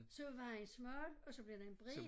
Så er vejen smal og så bliver den bred